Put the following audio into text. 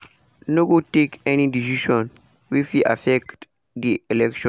no go take any decisions wey fit affect di election” e tok.